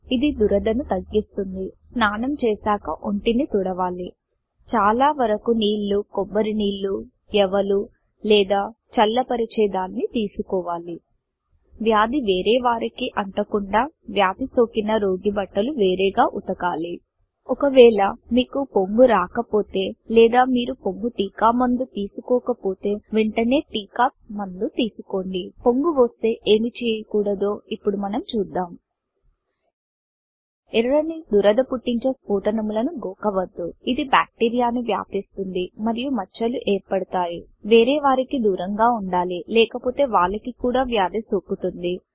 ఇది దురదను తగ్గిస్తుంది స్నానం చేసాక ఒంటిని తుడవాలి 160 చాల వరకు నీళ్ళు కొబ్బరి నీళ్ళు యవలు లేదా చల్ల పరిచే దాన్ని తీసుకోవాలి వ్యాది వేరే వారికీ అంట కుండా వ్యాది సోకిన రోగి బట్టలు వేరేగా ఉతకాలి ఒకవేళ మీకు పొంగు రాకపోతే లేదా మీరు పొంగు టీకా మందు తీసుకోక పోతే వెంట నే టీకా మందు తీసుకోండి పొంగు వస్తే ఏమి చేయకుడదో చూద్దాం ఎర్రని దురద పుట్టించే స్ఫోటనములను గోకవద్దు ఇది బాక్టీరియా ను వ్యాపిస్తుంది మరియు మచ్చ లు ఏర్పడుతాయి వేరే వారికీ దురం గ వుండాలి లేకపోతే వాళ్ళకి కూడా వ్యాది సోకుతుంది